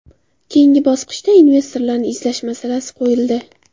Keyingi bosqichda investorlarni izlash masalasi qo‘yildi.